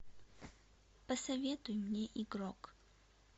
посоветуй мне игрок